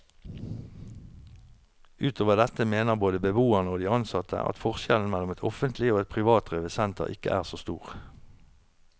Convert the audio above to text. Utover dette mener både beboerne og de ansatte at forskjellen mellom et offentlig og et privatdrevet senter ikke er så stor.